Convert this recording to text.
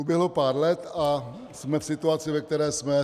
Uběhlo pár let a jsme v situaci, ve které jsme.